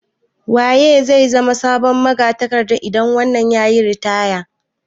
Waye zai zama sabon magatakarda idan wannan yayi ritaya?